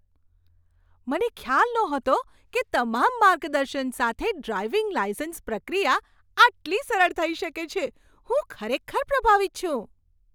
મને ખ્યાલ નહોતો કે તમામ માર્ગદર્શન સાથે ડ્રાઈવિંગ લાઈસન્સ પ્રક્રિયા આટલી સરળ થઈ શકે છે. હું ખરેખર પ્રભાવિત છું!